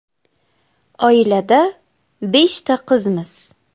“Oilada beshta qizmiz.